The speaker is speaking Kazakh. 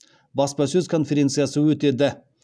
баспасөз конференциясы өтеді